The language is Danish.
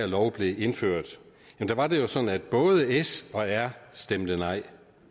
lov blev indført da var det jo sådan at både s og r stemte nej